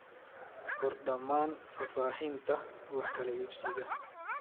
Qor dhammaan faahfaahinta wax kala iibsiga.